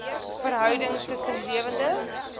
verhouding tussen lewende